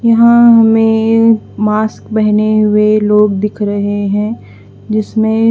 यहां हमें मास्क पहने हुए लोग दिख रहे हैं जिसमें--